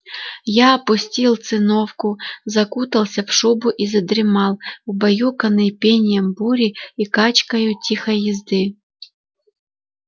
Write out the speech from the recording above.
я опустил циновку закутался в шубу и задремал убаюканный пением бури и качкою тихой езды